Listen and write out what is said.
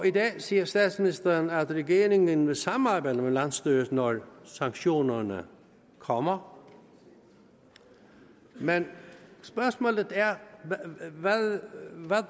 i dag siger statsministeren at regeringen vil samarbejde med landsstyret når sanktionerne kommer men spørgsmålet er hvad